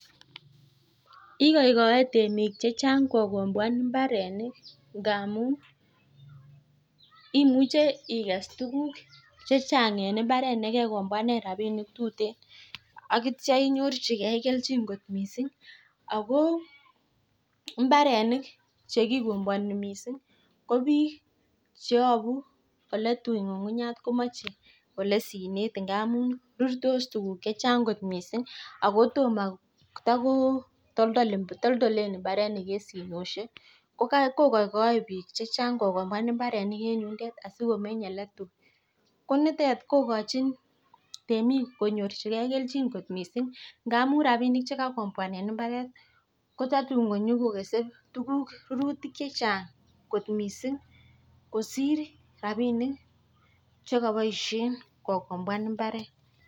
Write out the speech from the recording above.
Igoigoei temik chechan'g kokomboan mbarenik ndamun imuche ikes tukuk chechan'g en mbaret ne kekomboane rapinik che tuteen. Agitio inyorchigei kelchin kot mising. Ako mbarenik chekikomboani mising ko biik cheyabu ole tui ng'ung'unyek komachei ole sinet ngamun rurtos tukuk chechan'g kot mising. Ako toma, tako toltolen mbaronik eng sinoshek. Ko koikoei biik chechang kokomboan mbarenik eng yundet asikomeny ole tui. Ko nitet kokochin temik konyorchigei kelchin kot mising. Ngamun rapinik che kaikomboane mbaret ko tatun konyakokesei tukuk che chan'g kot mising kosir rapinik chekaboishe kokomboan mbaret.